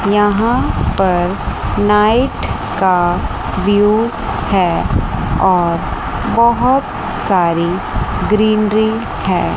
यहां पर नाइट का व्यू है और बहोत सारी ग्रीनरी है।